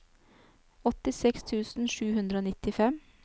åttiseks tusen sju hundre og nittifem